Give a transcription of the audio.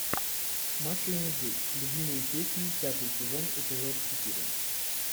маша и медведь любимые песни пятый сезон эпизод четыре